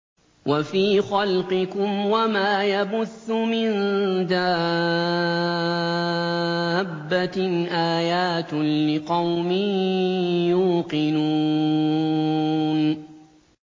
وَفِي خَلْقِكُمْ وَمَا يَبُثُّ مِن دَابَّةٍ آيَاتٌ لِّقَوْمٍ يُوقِنُونَ